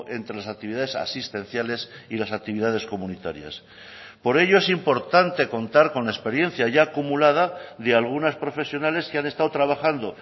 entre las actividades asistenciales y las actividades comunitarias por ello es importante contar con la experiencia ya acumulada de algunas profesionales que han estado trabajando